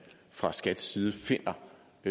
fra skats side finder